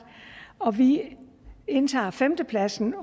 og vi indtager femtepladsen